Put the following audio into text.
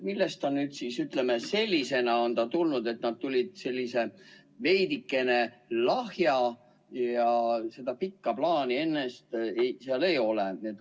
Millest ta siis sellisena on tulnud, et tuli selline veidike lahja ja seda pikka plaani ennast seal ei ole?